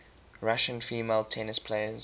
russian female tennis players